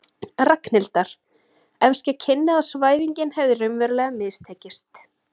Ragnhildar, ef ske kynni að svæfingin hefði raunverulega mistekist.